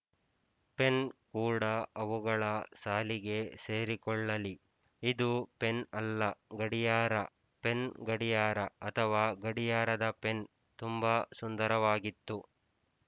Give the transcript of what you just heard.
pen ಕೂಡ ಅವುಗಳ ಸಾಲಿಗೇ ಸೇರಿಕೊಳ್ಳಲಿ ಇದು ಪೆನ್ ಅಲ್ಲ ಗಡಿಯಾರ ಪೆನ್ ಗಡಿಯಾರ ಅಥವಾ ಗಡಿಯಾರದ ಪೆನ್ ತುಂಬ ಸುಂದರವಾಗಿತ್ತು